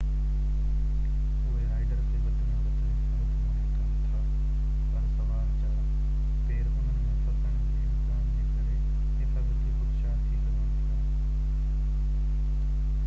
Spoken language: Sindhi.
اهي رائيڊر کي وڌ ۾ وڌ حفاظت مهيا ڪن ٿا پر سوار جا پير انهن ۾ ڦسڻ جي امڪان جي ڪري حفاظتي خدشا ٿي سگهن ٿا